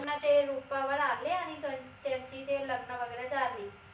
पुन्हा ते रूपावर आले अं आणि त्याची ते लग्न वगैरे झाली